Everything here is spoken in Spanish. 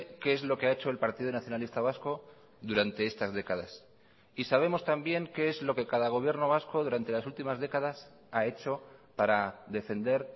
qué es lo que ha hecho el partido nacionalista vasco durante estas décadas y sabemos también qué es lo que cada gobierno vasco durante las últimas décadas ha hecho para defender